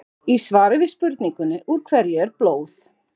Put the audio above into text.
Í svari við spurningunni Úr hverju er blóð?